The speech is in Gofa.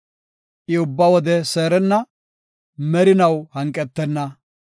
I ubba wode seerenna; merinaw hanqetenna.